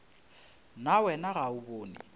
na wena ga o bone